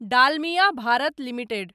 Dalmia Bharat limited